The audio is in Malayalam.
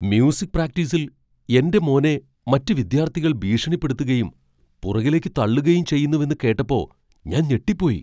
മ്യൂസിക് പ്രാക്ടീസിൽ എന്റെ മോനെ മറ്റ് വിദ്യാർത്ഥികൾ ഭീഷണിപ്പെടുത്തുകയും പുറകിലേക്ക് തള്ളുകയും ചെയ്യുന്നുവെന്ന് കേട്ടപ്പോ ഞാൻ ഞെട്ടിപ്പോയി.